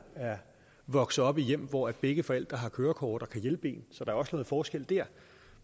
er vokset op i hjem hvor begge forældre har kørekort og kan hjælpe en så der er også noget forskel der